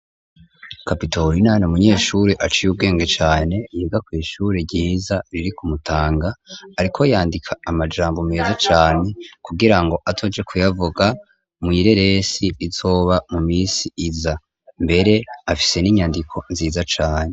Kapitorina n'umunyeshuri aciye ubwenge cane, yiga kw'ishuri ryiza riri ku Mutanga, ariko yandika amajambo meza cane, kugira ngo azoje kuyavuga mw'ireresi izoba mu misi iza, mbere afise n'inyandiko nziza cane.